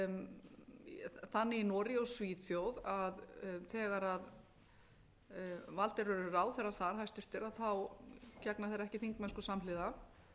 þannig í noregi og svíþjóð að þegar valdir eru ráðherrar þar hæstvirtir gegna þeir ekki þingmennsku samhliða